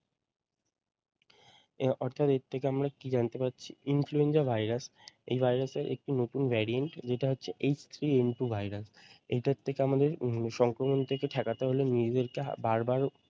এর অর্থাদিক থেকে আমরা কি জানতে পারছি influenza virus এই ভাইরাস এর একটি নতুন variant যেটা হচ্ছে H three N two virus এটার থেকে আমাদের উম সংক্রমণ থেকে ঠেকাতে হলে নিজেরদেরকে বার বার